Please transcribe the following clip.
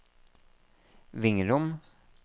Vingrom